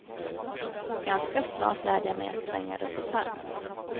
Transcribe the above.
Ganska snart lärde jag mig att svänga runt ett hörn.